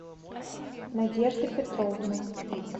надежда петровна